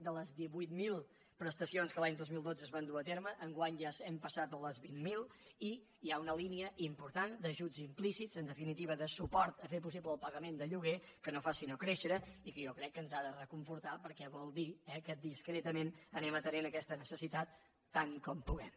de les divuit mil prestacions que l’any dos mil dotze es van dur a terme enguany ja hem passat a les vint mil i hi ha una línia important d’ajuts implícits en definitiva de suport a fer possible el pagament del lloguer que no fa sinó créixer i jo crec que ens ha de reconfortar perquè vol dir que discretament anem atenent aquesta necessitat tant com podem